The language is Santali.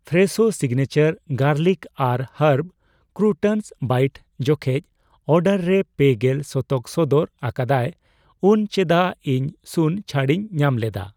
ᱯᱷᱨᱮᱥᱳ ᱥᱤᱜᱱᱮᱪᱟᱨ ᱜᱟᱨᱞᱤᱠ ᱟᱨ ᱦᱟᱨᱵ ᱠᱨᱩᱴᱚᱱᱥ ᱵᱟᱭᱤᱴ ᱡᱚᱠᱷᱮᱡᱽ ᱚᱰᱟᱨ ᱨᱮ ᱯᱮᱜᱮᱞ ᱥᱚᱛᱚᱠ ᱥᱚᱫᱚᱨ ᱟᱠᱟᱫᱟᱭ ᱩᱱ ᱪᱮᱫᱟᱜ ᱤᱧ ᱥᱩᱱ ᱪᱷᱟᱹᱲᱤᱧ ᱧᱟᱢᱞᱮᱫᱟ ᱾